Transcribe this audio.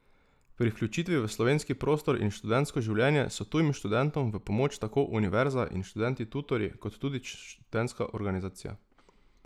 Pri vključitvi v slovenski prostor in študentsko življenje so tujim študentom v pomoč tako univerza in študenti tutorji kot tudi študentska organizacija.